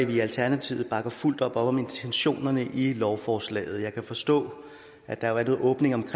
vi i alternativet bakker fuldt op om intentionerne i lovforslaget jeg kan forstå at der er en åbning i